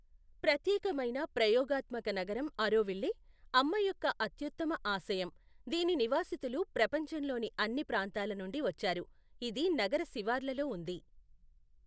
ప్రత్యేకమైన ప్రయోగాత్మక నగరం ఆరోవిల్లే అమ్మ యొక్క అత్యుత్తమ ఆశయం, దీని నివాసితులు ప్రపంచంలోని అన్ని ప్రాంతాల నుండి వచ్చారు, ఇది నగర శివార్లలో ఉంది.